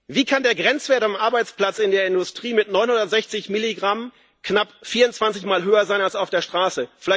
Wie kann der Grenzwert am Arbeitsplatz in der Industrie mit 960 Mikrogramm knapp 24 mal höher sein als auf der Straße?